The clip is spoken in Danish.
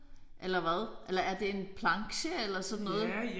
Eller hvad? Eller er det en planche eller sådan noget?